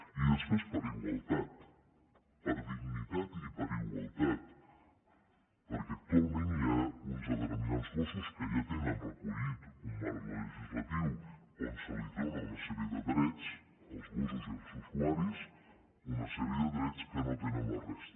i després per igualtat per dignitat i per igualtat perquè actualment hi ha uns determinats gossos que ja tenen recollit un marc legislatiu on se’ls dóna una sèrie de drets als gossos i als usuaris una sèrie de drets que no tenen la resta